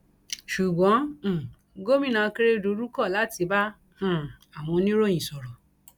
ṣùgbọn um gòmìnà akérèdọlù kọ láti bá um àwọn oníròyìn sọrọ